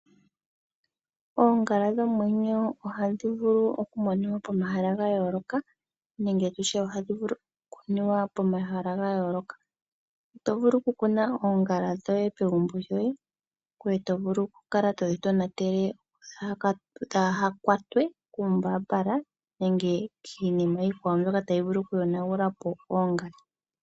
Oongala dhomwenyo ohadhi vulu oku moniwa pomahala gayooloka nenge tutye ohadhi vulu oku kuniwa pomahala gayooloka. Oto vulu oku kuna oongala shoye pegumbo ishewe. Oto vulu oku kala todhi tonatele dhaaha kwatwe kuumbaambala nenge kiinima iikwawo mbyoka tayi vulu oku yonagula po oongala.